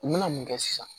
U mana mun kɛ sisan